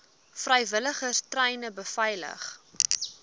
vrywilligers treine beveilig